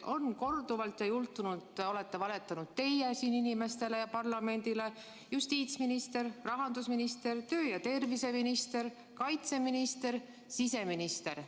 On korduvalt juhtunud, et te olete valetanud siin inimestele ja parlamendile, justiitsminister, rahandusminister, töö- ja terviseminister, kaitseminister, siseminister.